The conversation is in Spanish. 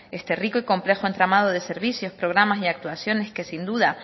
este rico y complejo entramado de servicios programas y actuaciones que sin duda